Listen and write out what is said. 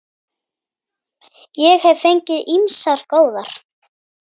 Ég hef fengið ýmsar góðar.